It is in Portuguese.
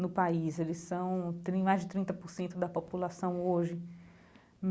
no país, eles são tem mais de trinta por cento da população hoje.